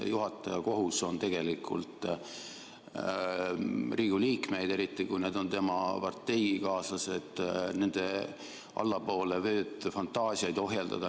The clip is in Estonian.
Juhataja kohus on tegelikult Riigikogu liikmeid ohjeldada, eriti kui need on tema parteikaaslased, ja nende allapoole vööd fantaasiaid ohjeldada.